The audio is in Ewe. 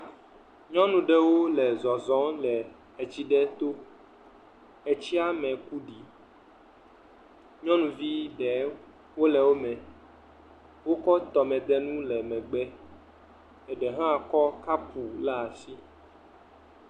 Nyɔnu ɖewo le zɔzɔm le ts aɖe to tsiame kuɖi nyɔnuvi aɖewo le wome, wokɔ tɔmedenu le wo megb, ɖee hã kɔ kau ɖe asi.